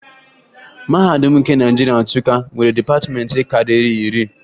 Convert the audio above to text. Mahadum nke Naịjirịa, Nsụka, nwere dịpatịmentị karịrị iri